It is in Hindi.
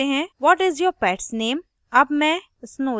अब हम चुनते हैं what is your pets name